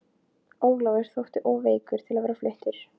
Ólafur þótti of veikur til að vera fluttur.